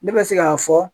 Ne bɛ se k'a fɔ